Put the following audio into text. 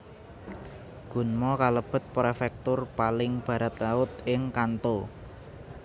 Gunma kalebet prefektur paling baratlaut ing Kanto